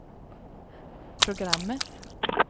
programmet